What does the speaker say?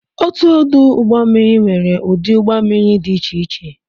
Otu ọdụ ụgbọ mmiri nwere ụdị ụgbọ mmiri dị iche iche